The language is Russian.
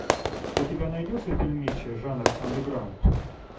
у тебя найдется фильмище жанр андеграунд